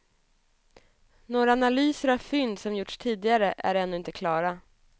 Några analyser av fynd som gjorts tidigare är ännu inte klara.